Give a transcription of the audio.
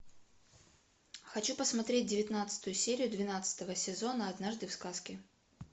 хочу посмотреть девятнадцатую серию двенадцатого сезона однажды в сказке